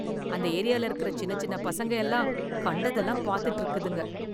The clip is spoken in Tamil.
அந்த ஏரியால இருக்கற சின்ன சின்ன பசங்க எல்லாம் கண்டதெல்லாம் பார்த்ததுட்டு இருக்குதுங்க.